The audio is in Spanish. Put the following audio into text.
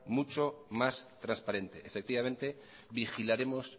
muchos más transparente efectivamente vigilaremos